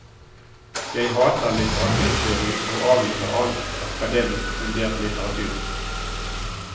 Jeg hater litteraturteori og avviser all akademisk fundert litteratur.